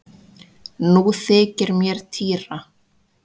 Nú þykir mér týra!